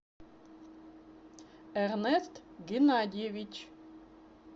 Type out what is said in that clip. эрнест геннадьевич